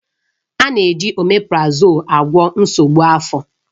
A na-eji oméprazolú agwọ nsogbu afọ.